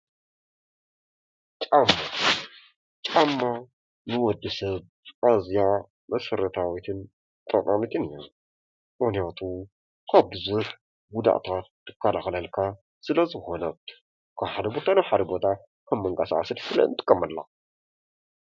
ጫማ ጫማ ንወዲሰብ ኣዝያ መሰረታዊትን ጠቃሚትን አያ ምክንያቱ ካብ ቡዙሕ ጉድኣታት ትከላከለልካ ስለ ዝኮነት ካብ ሓደ ቦታ ናብ ሓደ ቦታ መንቀሳቀሲት ንጥቀመላ።